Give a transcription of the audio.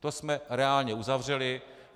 To jsme reálně uzavřeli.